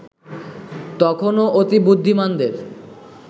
তখনো অতিবুদ্ধিমানদের